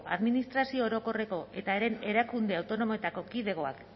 administrazio orokorreko eta haren erakunde autonomoetako kidegoak